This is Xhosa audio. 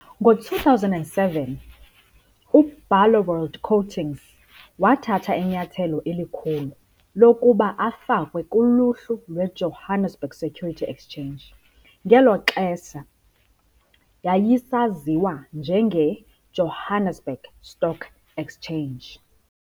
Ngo-2007, uBarloworld Coatings wathatha inyathelo elikhulu lokuba afakwe kuluhlu lweJohannesburg Security Exchange, ngelo xesha yayisaziwa njengeJohannesburg Stock Exchange.